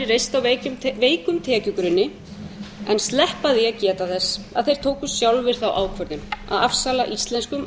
á veikum tekjugrunni en sleppa því að geta þess að þeir tóku sjálfir þá ákvörðun að afsala íslenskum